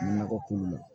Nakɔ kungo la